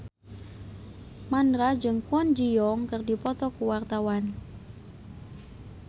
Mandra jeung Kwon Ji Yong keur dipoto ku wartawan